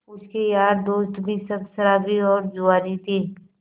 उसके यार दोस्त भी सब शराबी और जुआरी थे